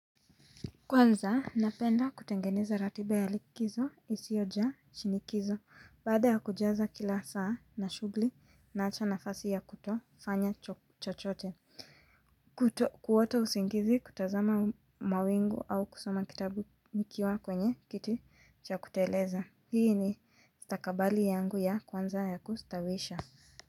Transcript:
Kwanza, napenda kutengeneza ratiba ya likizo, isiyojaa shinikizo, baada ya kujaza kila saa na shughuli naacha nafasi ya kutofanya chochote. Kuto, kuota usingizi, kutazama mawingu au kusoma kitabu nikiwa kwenye kiti cha kuteleza. Hii ni stakabali yangu ya kwanza ya kustawisha.